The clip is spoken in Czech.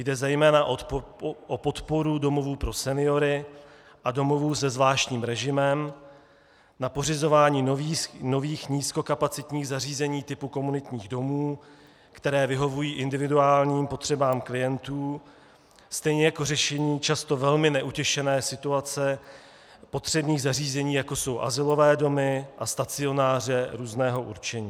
Jde zejména o podporu domovů pro seniory a domovů se zvláštním režimem, na pořizování nových nízkokapacitních zařízení typu komunitních domů, které vyhovují individuálním potřebám klientů, stejně jako řešení často velmi neutěšené situace potřebných zařízení, jako jsou azylové domy a stacionáře různého určení.